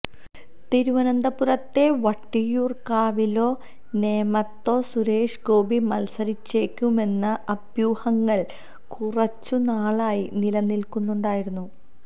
തിരുവനന്തപുരത്തെ വട്ടിയൂര്ക്കാവിലോ നേമത്തോ സുരേഷ് ഗോപി മത്സരിച്ചേക്കുമെന്ന അഭ്യൂഹങ്ങള് കുറച്ചു നാളായി നിലനില്ക്കുന്നുണ്ടായിരുന്നു